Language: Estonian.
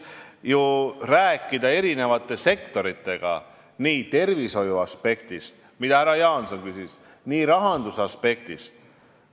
Tuleb rääkida eri sektoritega nii tervishoiuaspektist, mille kohta härra Jaanson küsis, kui ka rahandusaspektist.